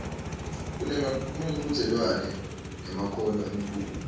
kunemchudzelwano ngemakhono emculo